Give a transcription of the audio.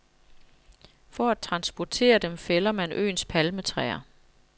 For at transportere dem fælder man øens palmetræer.